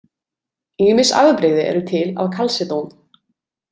Ýmis afbrigði eru til af kalsedón.